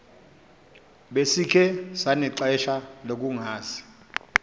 besikhe sanexesha lokungazi